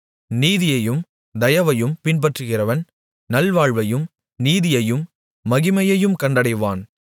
நீதியையும் தயவையும் பின்பற்றுகிறவன் நல்வாழ்வையும் நீதியையும் மகிமையையும் கண்டடைவான்